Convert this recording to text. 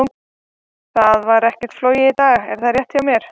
Það var ekkert flogið í dag, er það rétt hjá mér?